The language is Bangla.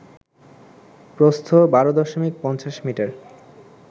প্রস্থ ১২ দশমিক ৫০ মিটার